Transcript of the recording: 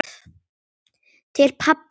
Til pabba okkar.